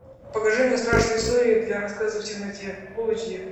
покажи мне страшные истории для рассказа в темноте фул эйч ди